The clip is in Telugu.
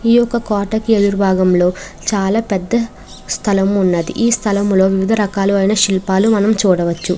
ఈ యొక్క కోటకి ఎదురు భాగంలో చాలా పెద్ద స్థలము ఉన్నది ఈ స్థలములో వివిధ రకాలు ఐన శిల్పాలు మనం చూడవచ్చు.